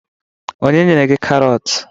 Onye nyere gi Karọt